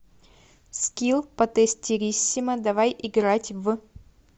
скилл потестириссимо давай играть в